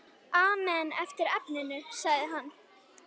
Amen eftir efninu sagði hann.